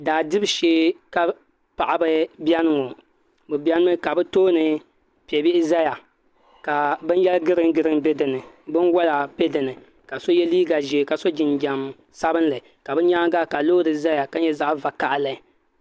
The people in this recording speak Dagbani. Daa dibu shee ka paɣaba biɛni ŋo bi biɛni mi ka bi tooni piɛ bihi ʒɛya ka bin yɛri giriin giriin bɛ dinni binwola bɛ dinni ka so yɛ liiga ʒiɛ ka so jinjɛm sabinli ka bi nyaanga ka loori ʒɛya ka nyɛ zaɣ vakaɣali